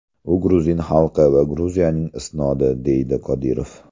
U gruzin xalqi va Gruziyaning isnodi”, deydi Qodirov.